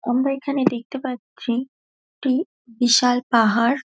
আমরা এইখানে দেখতে পারছি একটি বিশাল পাহাড়।